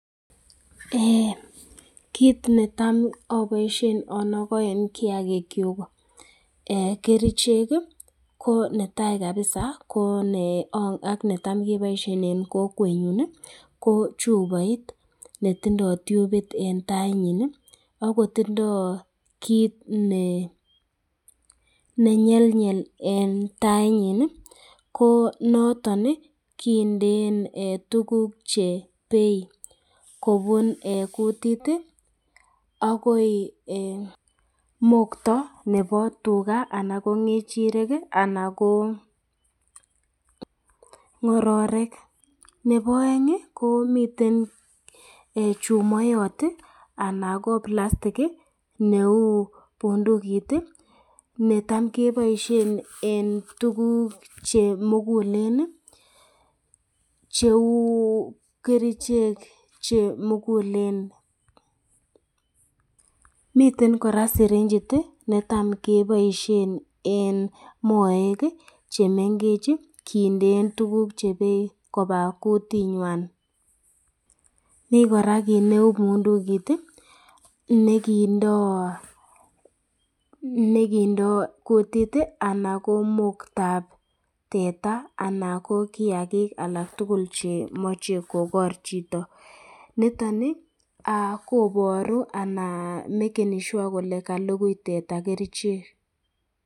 Eeh kit netam iboishen inoken kiyagik kyuk eeh kerichek kii ko netai kabisa eeh ak netam keboishen en kokwenyuny nii ko chuboit netindo tyupit en tainyin ak kotindo kit ne nenyenyel en tainyin nii ko noton nii kindeen eeh tukuk chebei kobun eeh kutit tii akoi mokto nebo tugaa anan ko ngechirek kii anan ko ngororik. Nebo engin komiten eeh chumoyot tiii anan ko palastik kii neu bundukit tii netam keboishen en tukuk chemugulen nii cheu kerichek chemugulen. Miten koraa Sirinchit tii netam keboishen en moek kii chemengech kindeen tukuk chebei koba koyunywan. Mii koraa kit neu pundukit tii nekindo nekindo kutit tii ana ko moktab teta ana ko kiyagik alak tukul chemoche kogor chito, niton nii koboru ana mekeni Shure kole kalukui teta kerichek.